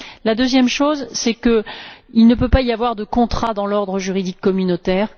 La deuxième chose, c'est qu'il ne peut pas y avoir de contrat dans l'ordre juridique communautaire.